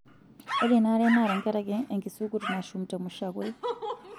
Ore ena are naa tenkaraki enkisukut nashuma temushakwei.